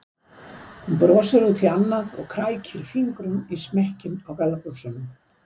Hún brosir út í annað og krækir fingrum í smekkinn á gallabuxunum.